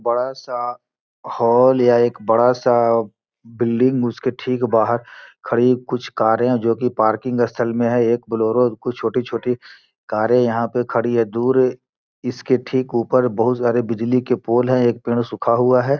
बड़ा सा हॉल या एक बड़ा सा बिल्डिंग उसके ठीक बाहर खड़ी कुछ कारें है जो की पार्किंग स्थल में है एक बोलेरो कुछ छोटी-छोटी कारें यहाँ पे खड़ी है दूर इसके ठीक ऊपर बहोत सारे बिजली के पोल है एक पेड़ सूखा हुआ है।